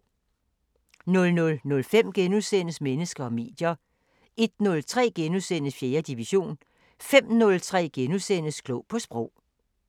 00:05: Mennesker og medier * 01:03: 4. division * 05:03: Klog på Sprog *